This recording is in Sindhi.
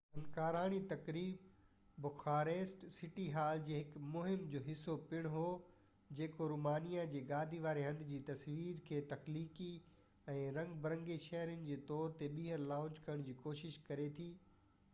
فنڪاراڻي تقريب بخاريسٽ سٽي هال جي هڪ مهم جو حصو پڻ هو جيڪو رومانيا جي گادي واري هنڌ جي تصوير کي تخليقي ۽ رنگ برنگي شهر جي طور تي ٻيهر لانچ ڪرڻ جي ڪوشش ڪري ٿي